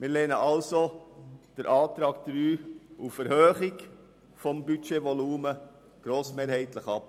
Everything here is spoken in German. Wir lehnen also den Antrag 3 auf Erhöhung des Budgetvolumens grossmehrheitlich ab.